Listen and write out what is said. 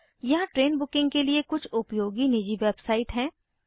यहाँ train booking के लिए कुछ उपयोगी निजी वेबसाइट हैं